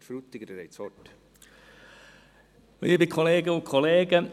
Herr Frutiger, Sie haben das Wort.